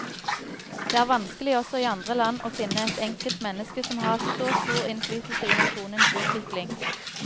Det er vanskelig også i andre land å finne ett enkelt menneske som har hatt så stor innflytelse i nasjonens utvikling.